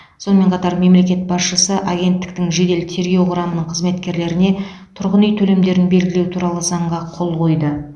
сонымен қатар мемлекет басшысы агенттіктің жедел тергеу құрамының қызметкерлеріне тұрғын үй төлемдерін белгілеу туралы заңға қол қойды